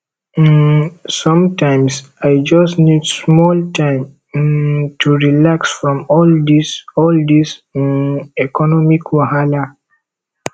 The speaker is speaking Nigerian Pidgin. um sometimes i just need small time um to relax from all dis all dis um economic wahala